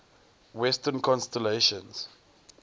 western constellations